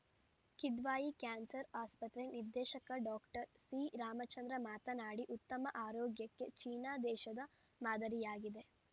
Kidwai cancer ಆಸ್ಪತ್ರೆ ನಿರ್ದೇಶಕ doctor ಸಿರಾಮಚಂದ್ರ ಮಾತನಾಡಿ ಉತ್ತಮ ಆರೋಗ್ಯಕ್ಕೆ ಚೀನಾ ದೇಶದ ಮಾದರಿಯಾಗಿದೆ